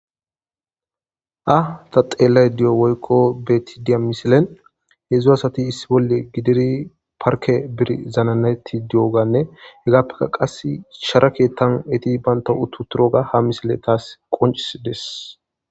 Ha ta beada woyikko xeelayida deiyo misilen hezdzdu asati issi bola gidida parikke bidi zananetidi diyoganne hegappekka qas sharat eyita banitawu keththani uttidogga ha misileyi tas qoncisidees